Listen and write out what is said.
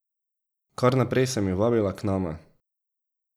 Kar naprej sem jo vabila k nama.